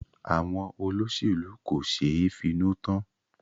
Àwọn olóṣèlú kò ṣeé finú tán.